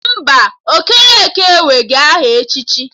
Mba, Okeke enweghị aha echichi